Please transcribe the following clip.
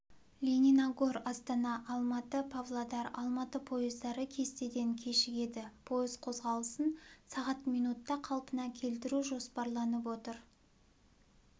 лениногор астана алматы павлодар-алматы пойыздары кестеден кешігеді пойыз қозғалысын сағат минутта қалпына келтіру жоспарланып отыр